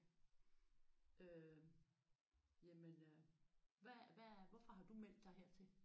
Øh jamen øh hvad hvad hvorfor har du meldt dig her til?